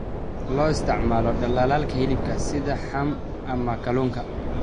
Loo isticmaalo dhaldhalaalka hilibka sida ham ama kalluunka.